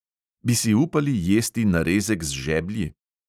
Bi si upali jesti narezek z žeblji?